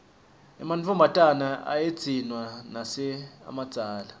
ematfombatane ayedziswa nase amadzala